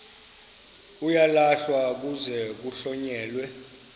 uyalahlwa kuze kuhlonyelwe